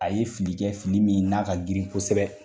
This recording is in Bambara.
A ye fili kɛ fili min n'a ka girin kosɛbɛ.